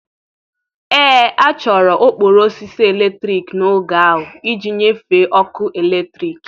Ee, a chọrọ okporo osisi eletrik n'oge ahụ iji nyefee ọkụ eletrik.